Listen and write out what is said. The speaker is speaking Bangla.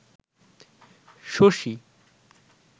শশী